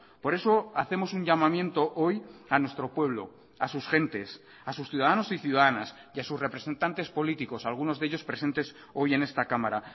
por eso hacemos un llamamiento hoy a nuestro pueblo a sus gentes a sus ciudadanos y ciudadanas y a sus representantes políticos algunos de ellos presentes hoy en esta cámara